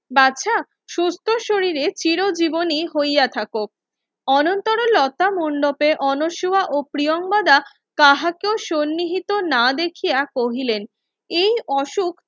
বাছা সুস্থ শরীরে চিরজীবনী হইয়া থাকো অনন্তর লতা মণ্ডপে অনসহা ও প্রিয়াঙ্গদা কাহাকেও সন্নিহিত না দেখিয়া কহিলেন এই অসুখ